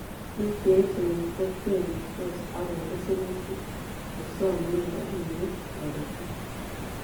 Bik cheechen kotebitos akonde serutik chesomei robinikab toretet